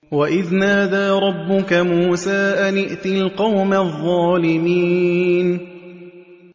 وَإِذْ نَادَىٰ رَبُّكَ مُوسَىٰ أَنِ ائْتِ الْقَوْمَ الظَّالِمِينَ